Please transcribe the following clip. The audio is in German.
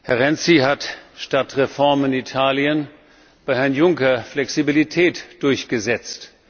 Herr Renzi hat statt Reformen in Italien bei Herrn Juncker Flexibilität durchgesetzt.